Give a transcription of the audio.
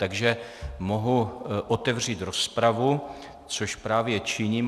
Takže mohu otevřít rozpravu, což právě činím.